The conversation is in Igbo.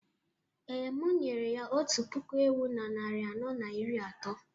Ee, m nyere ya otu puku ewu na narị anọ na iri atọ